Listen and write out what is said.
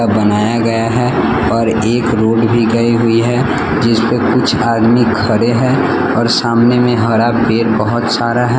बनाया गया है और एक रोड भी गई हुई है जिस पे कुछ आदमी खड़े हैं और सामने में हरा पेड़ बहुत सारा है।